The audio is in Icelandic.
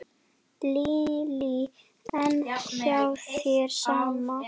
Lillý: En hjá þér, sama?